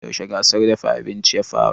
Yaushe gasar dafa abinci ya fara?